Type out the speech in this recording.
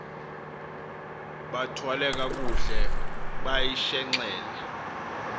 bathwale kakuhle bayishenxele